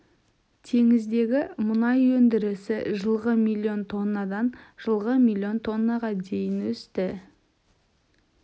теңіздегі мұнай өндірісі жылғы миллион тоннадан жылғы миллион тоннаға дейін өсті